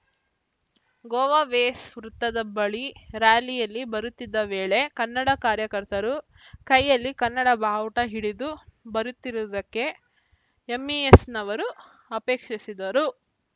ಗೋವಾವೇಸ್‌ ವೃತ್ತದ ಬಳಿ ರ್ಯಾಲಿಯಲ್ಲಿ ಬರುತ್ತಿದ್ದ ವೇಳೆ ಕನ್ನಡ ಕಾರ್ಯಕರ್ತರು ಕೈಯಲ್ಲಿ ಕನ್ನಡ ಬಾವುಟ ಹಿಡಿದು ಬರುತ್ತಿರುವುದಕ್ಕೆ ಎಂಇಎಸ್‌ನವರು ಅಪೇಕ್ಷಿಸಿದರು